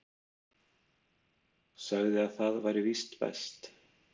Sagði að það væri víst best.